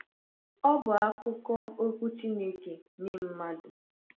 Ọ bụ akụkụ okwu Chineke nye mmadụ.